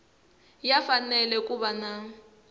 ya fanele ku va na